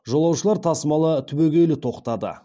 жолаушылар тасымалы түбегейлі тоқтады